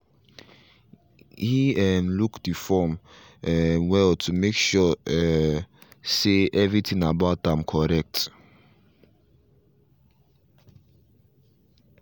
he um look the form um well to make sure um say everything about am correct